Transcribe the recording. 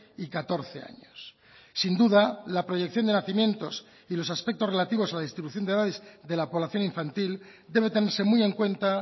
y catorce años sin duda la proyección de nacimientos y los aspectos relativos a la distribución de edades de la población infantil debe tenerse muy en cuenta